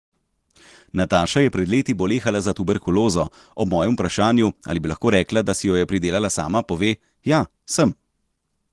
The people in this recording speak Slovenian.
Nataša je pred leti bolehala za tuberkulozo, ob mojem vprašanju, ali bi lahko rekla, da si jo je pridelala sama, pove: 'Ja, sem.